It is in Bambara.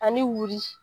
Ani wulu